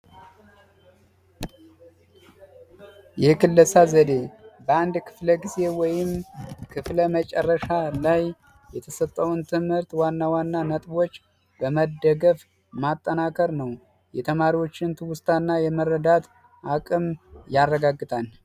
የክለሳ ዘዴ ክፍለጊዜ ወይም ክፍለ መጨረሻ ላይ የተሰጠውን ትምህርት ዋና ዋና ነጥቦች በመደገፍ ማጠናከር ነው የተማሪዎችን ትውስታ እና የመረዳት አቅም ያረጋግጣል